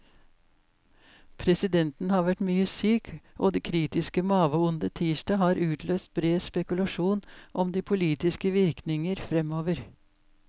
Presidenten har vært mye syk, og det kritiske maveondet tirsdag har utløst bred spekulasjon om de politiske virkninger fremover.